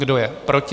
Kdo je proti?